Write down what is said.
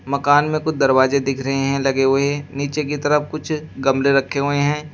मकान में कुछ दरवाजे दिख रहे हैं लगे हुए नीचे की तरफ कुछ गमले रखे हुए हैं।